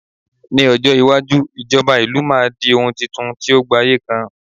ní ọjọ iwaju ijoba ìlú ma di oun Titun ti o gbaye kan